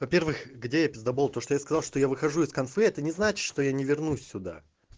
во-первых где я писдобол то что я сказал что я выхожу из конфы это не значит что я не вернусь сюда